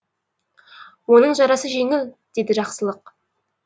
оның жарасы жеңіл деді жақсылық